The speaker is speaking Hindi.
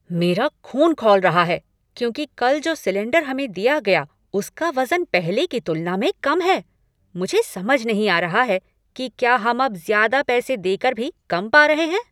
मेरा ख़ून खौल रहा है क्योंकि कल जो सिलेंडर हमें दिया गया उसका वजन पहले की तुलना में कम है। मुझे समझ नहीं आ रहा है कि क्या हम अब ज्यादा पैसे देकर भी कम पा रहे हैं।